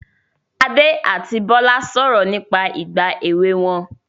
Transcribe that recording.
Adé àti Bọ́lá sọ̀rọ̀ nípa ìgbà èwe wọn